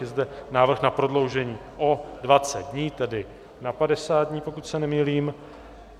Je zde návrh na prodloužení o 20 dní, tedy na 50 dní, pokud se nemýlím.